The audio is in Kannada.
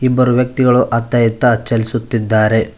ಇಬ್ಬರು ವ್ಯಕ್ತಿಗಳು ಅತ್ತ ಈತ್ತ ಚಲಿಸುತ್ತಿದ್ದಾರೆ.